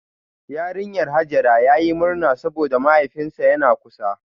Yarinyar Hajara yayi murna saboda mahaifinsa yana kusa